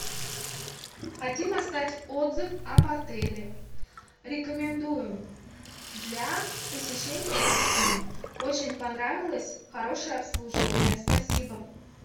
хотим оставить отзыв об отеле рекомендуем для посещения с детьми очень понравилось хорошее обслуживание спасибо